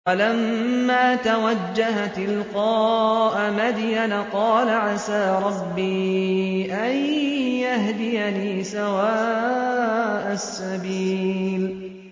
وَلَمَّا تَوَجَّهَ تِلْقَاءَ مَدْيَنَ قَالَ عَسَىٰ رَبِّي أَن يَهْدِيَنِي سَوَاءَ السَّبِيلِ